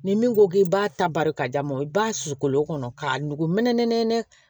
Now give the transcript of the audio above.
Ni min ko k'i b'a ta bari ka d'a ma i b'a susu kolo kɔnɔ k'a nugu mɛnɛ nɛnɛ